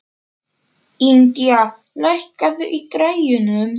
Indía, lækkaðu í græjunum.